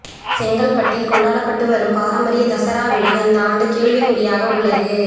செங்கல்பட்டில் கொண்டாடப்பட்டு வரும் பாரம்பரிய தசரா விழா இந்த ஆண்டு கேள்விக்குறியாக உள்ளது